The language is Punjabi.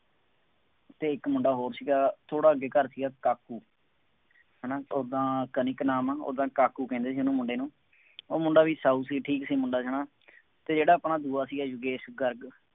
ਅਤੇ ਇੱਕ ਮੁੰਡਾ ਹੋਰ ਸੀਗਾ, ਥੋੜ੍ਹਾ ਅੱਗੇ ਘਰ ਸੀਗਾ, ਕਾਕੂ, ਹੈ ਨਾ, ਉਦਾਂ ਕਨਿਕ ਨਾਮ ਹੈ, ਉਦਾਂ ਕਾਕੂ ਕਹਿੰਦੇ ਸੀ ਉਹਨੂੰ ਮੁੰਡੇ ਨੂੰ, ਉਹ ਮੁੰਡਾ ਵੀ ਸਾਊ ਸੀ, ਠੀਕ ਸੀ ਮੁੰਡਾ ਹੈ ਨਾ ਅਤੇ ਜਿਹੜਾ ਆਪਣਾ ਦੂਆ ਸੀਗਾ ਯੋਗੇਸ਼ ਗਰਗ